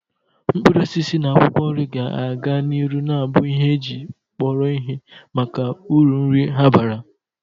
Mkpụrụ osisi na akwụkwọ nri ga-aga n'ihu na-abu ihe eji kpọrọ ihe maka uru nri ha bara